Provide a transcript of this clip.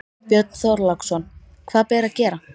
Björn Þorláksson: Hvað ber að gera?